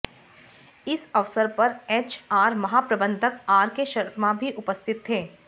इस अवसर पर एच आर महाप्रबंधक आर के शर्मा भी उपस्थित थे